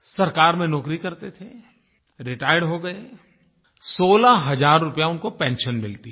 सरकार में नौकरी करते थे रिटायर हो गए 16 हजार रुपया उनको पेंशन मिलती है